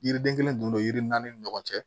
Yiriden kelen don yiri naani ni ɲɔgɔn cɛ